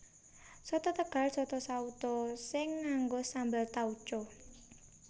Soto Tegal Soto sauto sing nganggo sambel tauco